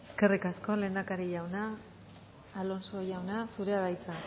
eskerrik asko lehendakari jauna alonso jauna zurea da hitza